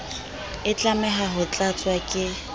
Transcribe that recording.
e tlameha ho tlatswa ke